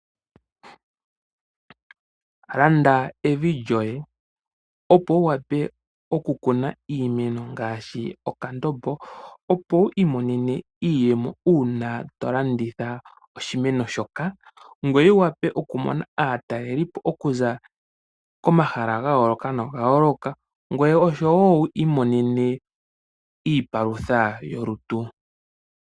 Landa evi lyoye opo wu wape okukuna iimeno ngaashi okandombo, opo wu imonene iiyemo uuna tolanditha oshimeno, ngweye wu wape okumona aataleli po okuza komahala ga yooloka noga yooloka, ngweye osho wo wu imonene iipalutha yolutu.